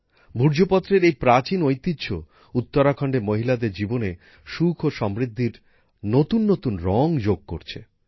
ভূর্জপত্রের এই প্রাচীন ঐতিহ্য উত্তরাখণ্ডের মহিলাদের জীবনে সুখ ও সমৃদ্ধির নতুন নতুন রং যোগ করছে